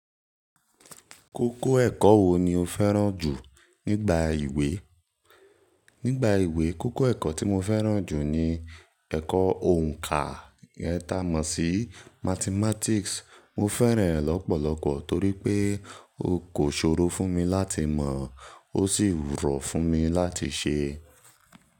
Kókó ẹ̀kọ́ wò ni o fẹ́ràn jù nígbà ìwé? Nígbà ìwé kókó ẹ̀kọ́ tí mo fẹ́ràn jù ni ẹ̀kọ́ òǹkà, iyẹn ta mọ̀ sí Mathematics. Mo fẹ́ràn ẹ́ lọ́pọ̀lọpọ̀ torí pé ó kò ṣòro fún mi láti mọ̀ ó sì rọ̀ fún mi láti ṣe.